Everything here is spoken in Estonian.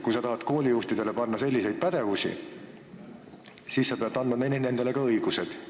Kui sa tahad koolijuhtidelt nõuda selliseid pädevusi, siis sa pead andma neile ka õigused.